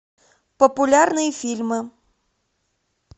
популярные фильмы